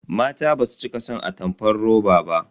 Mata basu cika son atamfar roba ba.